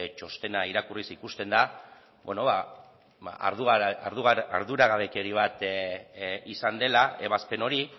txostena irakurriz ikusten da bueno arduragabekeria bat izan dela ebazpen hori